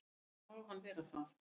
Enda má hann vera það.